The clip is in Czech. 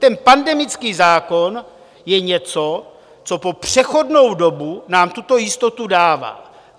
Ten pandemický zákon je něco, co po přechodnou dobu nám tuto jistotu dává.